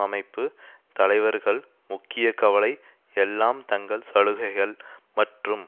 அமைப்பு தலைவர்கள் முக்கிய கவலை எல்லாம் தங்கள் சலுகைகள் மற்றும்